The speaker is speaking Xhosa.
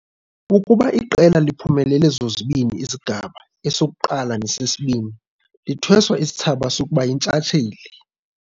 Ukuba iqela liphumelele zombini izigaba, esokuqala nelesibini, lithweswa isithsaba sokuba yintshatsheli.